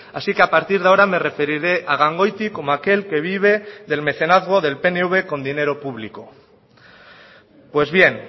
así que a partir de ahora me referiré a gangoiti como aquel que vive del mecenazgo del pnv con dinero público pues bien